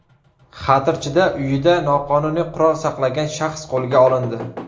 Xatirchida uyida noqonuniy qurol saqlagan shaxs qo‘lga olindi.